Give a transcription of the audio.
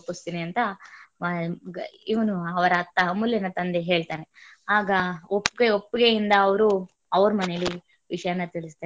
ಒಪ್ಪಿಸತಿನಿ ಅಂತ ಇವನು ಅವ ಅಮೂಲ್ಯ ನ ತಂದೆ ಹೇಳ್ತಾನೆ ಆಗ ಒಪ್ಪಿಗೆ~ ಒಪ್ಪಿಗೆ ಇಂದ ಅವರು ಅವರ ಮನೇಲಿ ವಿಷಯನ ತಿಳಿಸ್ತಾನೆ.